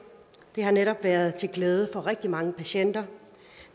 det har netop været til glæde for rigtig mange patienter